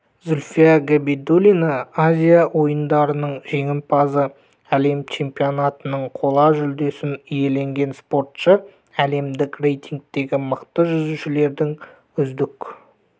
зульфия габидуллина азия ойындарының жеңімпазы әлем чемпионатының қола жүлдесін иеленген спортшы әлемдік рейтингтегі мықты жүзушілердің үздік